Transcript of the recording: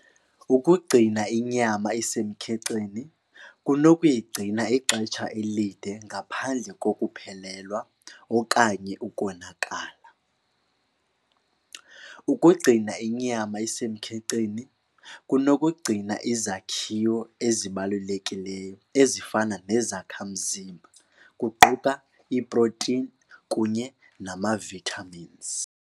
Ukugcina inyama isemkhenkceni kunokuyigcina ixesha elide ngaphandle kokuphelelwa okanye ukonakala. Ukugcina inyama isemkhenkceni kunokugcina izakhiwo ezibalulekileyo ezifana nezakhamzimba kuquka iiprotini kunye nama-vitamins.